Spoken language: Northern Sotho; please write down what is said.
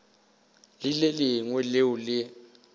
le le lengwe leo le